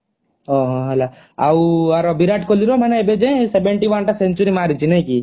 ଓହୋ ହେଲା ଆଉ ଆର ବିରାଟ କୋହଲି ର ମାନେଏବେ ଯାଏ seventy one ଟା century ମାରିଚି ନା କି